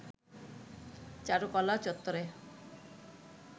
চারুকলা চত্বরে